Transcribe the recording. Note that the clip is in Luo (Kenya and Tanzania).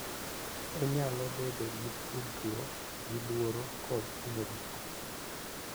Onyalo bedo gi tudruok gi luoro kod hinyruok,